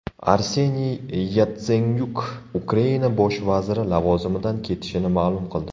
Arseniy Yatsenyuk Ukraina bosh vaziri lavozimidan ketishini ma’lum qildi.